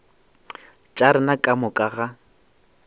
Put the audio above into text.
tša rena ka moka ga